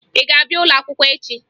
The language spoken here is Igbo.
Ị ga-abịa ụlọakwụkwọ echi?